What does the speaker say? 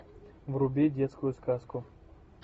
вруби детскую сказку